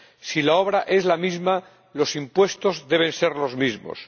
Si la obra es la misma, los impuestos deben ser los mismos.